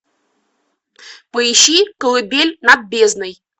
поищи колыбель над бездной